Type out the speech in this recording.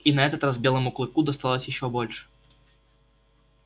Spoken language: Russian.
и на этот раз белому клыку досталось ещё больше